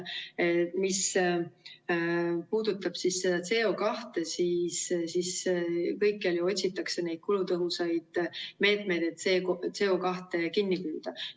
Mis puudutab CO2, siis kõikjal ju otsitakse neid kulutõhusaid meetmeid, et CO2 kinni püüda.